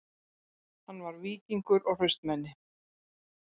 Hann var víkingur og hraustmenni